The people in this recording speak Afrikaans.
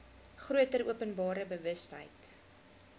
groter openbare bewustheid